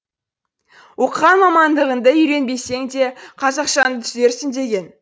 оқыған мамандығыңды үйренбесеңде қазақшаңды түзерсің деген